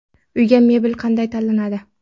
Uyga mebel qanday tanlanadi?.